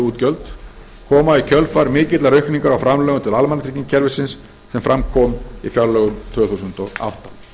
koma í kjölfar mikillar aukningar á framlögum til almannatryggingakerfisins sem fram kom í fjárlögum tvö þúsund og átta